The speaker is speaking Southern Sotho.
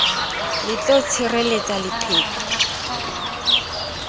le d ho tshireletsa leqheku